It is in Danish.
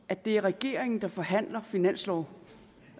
at det er regeringen der forhandler finanslov